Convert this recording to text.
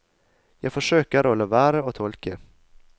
Jeg forsøker å la være å tolke.